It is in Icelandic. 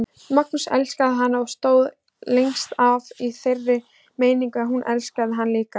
Magnús elskaði hana og stóð lengst af í þeirri meiningu að hún elskaði hann líka.